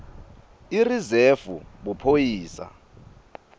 irizefu buphoyisa